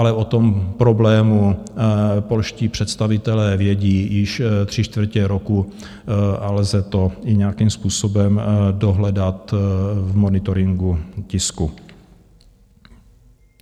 Ale o tom problému polští představitelé vědí již tři čtvrtě roku a lze to i nějakým způsobem dohledat v monitoringu tisku.